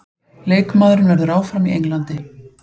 Leikmaðurinn verður áfram í Englandi